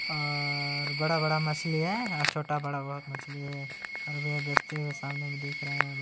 और बड़ा बड़ा मछली है और छोटा बड़ा बोहोत मछली है और बस्ती मे सामने भी दिख रहा है हमे।